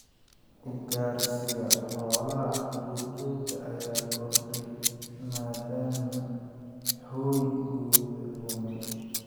Ugaarsiga xoolaha duurjoogta ayaa kordhay maadaama hoygooda lumay.